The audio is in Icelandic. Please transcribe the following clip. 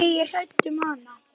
Ég er hrædd um hana.